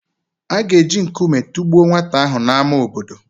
A ga-eji nkume tụgbuo nwata ahụ n’ámá obodo.